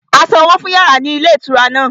A sanwó fún yàrá ní ilé ìtura náà